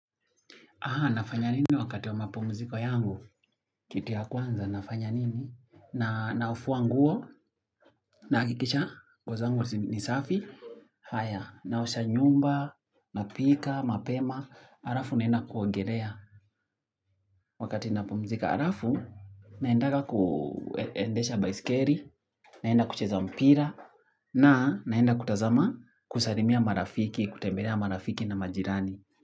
Aha, nafanya nini wakati wa mapomziko yangu? Kitu ya kwanza, nafanya nini? Na nafua nguo, na hakikisha nguo ni safi. Haya naosha nyumba, napika mapema alafu naenda kuogelea. Wakati na pumzika alafu, naendanga kuendesha baisikeli, naenda kucheza mpira na naenda kutazama kusalimia marafiki, kutembelea marafiki na majirani.